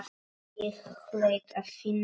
Ég hlaut að finna hana.